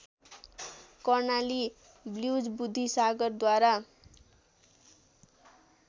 Karnali blues बुद्धिसागरद्वारा